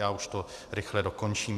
Já už to rychle dokončím.